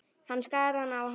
Hann skar hana á háls.